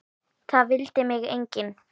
Það vildi mig enginn!